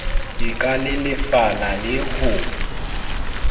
e ka lelefala le ho